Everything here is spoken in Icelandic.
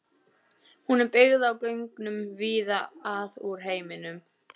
Hún er byggð á gögnum víða að úr heiminum.